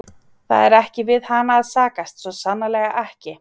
Það er ekki við hana að sakast, svo sannarlega ekki.